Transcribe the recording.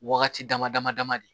Wagati dama dama dama de